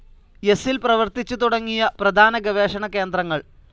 എസ്സിൽ പ്രവർത്തിച്ചു തുടങ്ങിയ പ്രധാന ഗവേഷണ കേന്ദ്രങ്ങൾ.